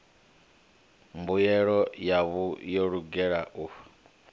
mbuyelo yavho yo lugela u